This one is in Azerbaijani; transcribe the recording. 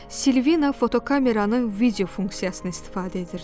Silvina fotokameranın video funksiyasını istifadə edirdi.